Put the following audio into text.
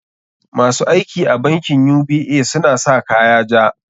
Ma su aiki a bankin UBA suna sa kaya ja.